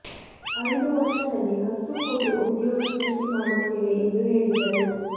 ಐದು ವರ್ಷದಲ್ಲಿ ಹತ್ತು ಕೋಟಿ ಉದ್ಯೋಗ ಸೃಷ್ಟಿ ಮಾಡುತ್ತೇವೆ ಎಂದು ಹೇಳಿದ್ದರು